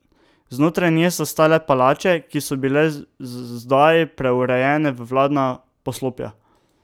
Znotraj nje so stale palače, ki so bile zdaj preurejene v vladna poslopja.